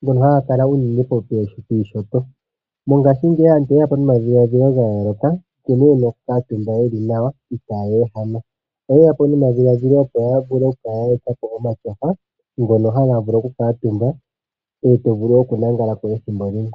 ngono ngakatumbwa unene piinyanga yaawambo. Ngashi ngeyi aantu oyeya po nomatyofa ngono haga katumbwa no hovulu okulalako ethimbo limwe.